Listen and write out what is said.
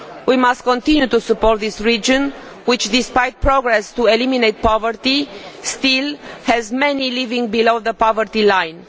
We must continue to support this region which, despite making progress in eliminating poverty, still has many living below the poverty line.